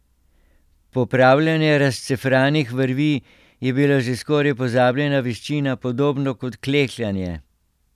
Popravljanje razcefranih vrvi je bila že skoraj pozabljena veščina, podobno kot klekljanje.